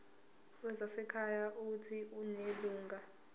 wezasekhaya uuthi unelungelo